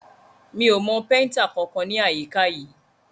Mi ò mọ péntà kankan ní àyíká yìí.